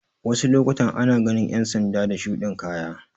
Wasu lokutan ana ganin ƴan sanda da shuɗin kaya